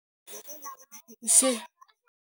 Nxixo.